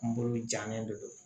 Kunkolo jalen de don